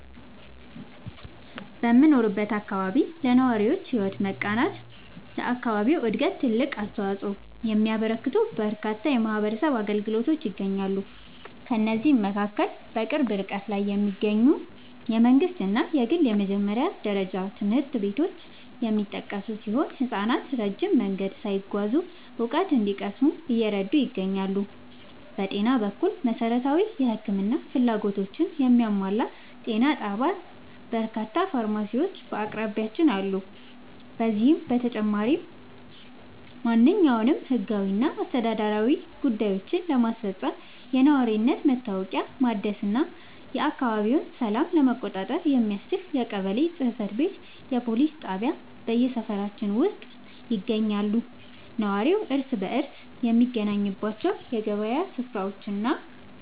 በምኖርበት አካባቢ ለነዋሪዎች ሕይወት መቃናትና ለአካባቢው ዕድገት ትልቅ አስተዋፅኦ የሚያበረክቱ በርካታ የማኅበረሰብ አገልግሎቶች ይገኛሉ። ከእነዚህም መካከል በቅርብ ርቀት ላይ የሚገኙ የመንግሥትና የግል የመጀመሪያ ደረጃ ትምህርት ቤቶች የሚጠቀሱ ሲሆን፣ ሕፃናት ረጅም መንገድ ሳይጓዙ እውቀት እንዲቀስሙ እየረዱ ይገኛሉ። በጤና በኩል፣ መሠረታዊ የሕክምና ፍላጎቶችን የሚያሟላ ጤና ጣቢያና በርካታ ፋርማሲዎች በአቅራቢያችን አሉ። ከዚህም በተጨማሪ፣ ማንኛውንም ሕጋዊና አስተዳደራዊ ጉዳዮችን ለማስፈጸም፣ የነዋሪነት መታወቂያ ለማደስና የአካባቢውን ሰላም ለመቆጣጠር የሚያስችል የቀበሌ ጽሕፈት ቤትና የፖሊስ ጣቢያ በሰፈራችን ውስጥ ይገኛሉ። ነዋሪው እርስ በርስ የሚገናኝባቸው የገበያ ሥፍራዎችና